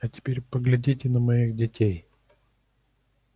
а теперь поглядите на моих детей